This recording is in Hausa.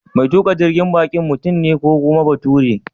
Mai tuƙa jirgin baƙin mutum ne ko kuma bature?